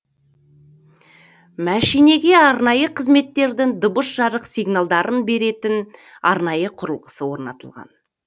мәшинеге арнайы қызметтердің дыбыс жарық сигналдарын беретін арнайы құрылғысы орнатылған